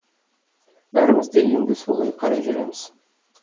бәріміз де енді солай қарай жүреміз